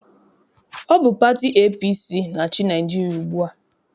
Ọ bụ pati APC na-achị Naịjirịa ugbua.